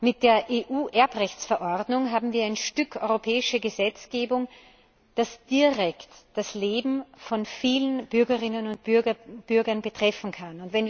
Mit der EU Erbrechtsverordnung haben wir ein Stück europäische Gesetzgebung, das direkt das Leben von vielen Bürgerinnen und Bürgern betreffen kann.